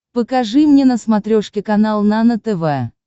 покажи мне на смотрешке канал нано тв